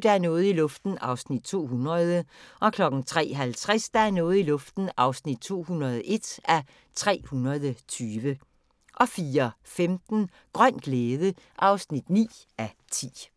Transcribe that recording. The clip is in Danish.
Der er noget i luften (200:320) 03:50: Der er noget i luften (201:320) 04:15: Grøn glæde (9:10)